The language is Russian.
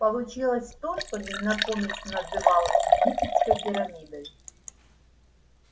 получилось то что незнакомец называл египетской пирамидой